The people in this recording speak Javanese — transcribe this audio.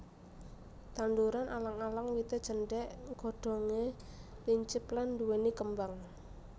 Tanduran alang alang wité cendhék godhongé lincip lan nduwèni kembang